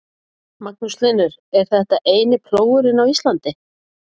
Magnús Hlynur: Og þetta er eini plógurinn á Íslandi?